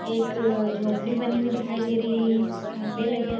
एक अ झोपड़ी बनी हुई दिखाई दे रही है खंभे लगे हु --